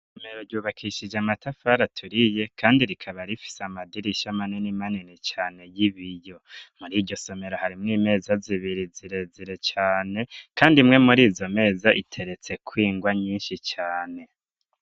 Isomero ryubakishije amatafari aturiye kandi rikaba rifise amadirisha manini manini cane y'ibiyo muriryo somero harimwo imeza zibiri zirezire cane kandi imwe muri izo meza iteretsekw'ingwa nyinshi cane.